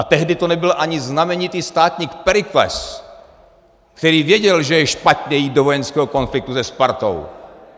A tehdy to nebyl ani znamenitý státník, Periklés, který věděl, že je špatně jít do vojenského konfliktu se Spartou.